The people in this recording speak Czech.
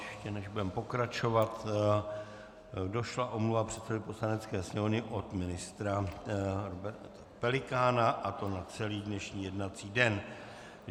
Ještě než budeme pokračovat, došla omluva předsedovi Poslanecké sněmovny od ministra Roberta Pelikána, a to na celý dnešní jednací den.